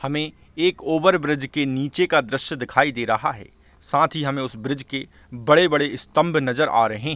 हमें एक over bridge के नीचे का दृश्य दिखाई दे रहा है साथ ही हमें उसे ब्रिज के बड़े-बड़े स्तम्भ नज़र आ रहे--